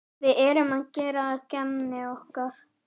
Við erum ekki að gera að gamni okkar.